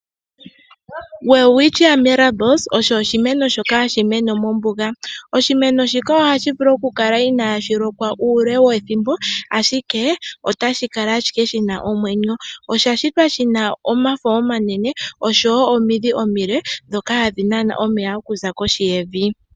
Welwitschia Mirabilis osho oshimeno shoka hashi mene mombuga, oshimeno shika ohashi vulu oku kala inaashi lokwa muule wethimbo, ashike otashi kala ashike shina omwenyo. Osha shitwa shina omafo omanene noshowo omiidhi omile ndhoka hadhi nana onmeya kohi yevi.